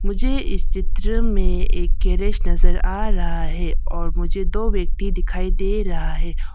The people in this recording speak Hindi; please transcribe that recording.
मुझे इस चित्र में एक गैरेज नजर आ रहा है और मुझे दो व्यक्ति दिखाई दे रहा है।